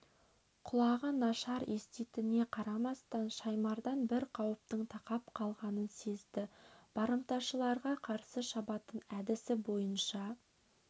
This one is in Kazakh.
құлағы нашар еститініне қарамастан шаймардан бір қауіптің тақап қалғанын сезді барымташыларға қарсы шабатын әдісі бойынша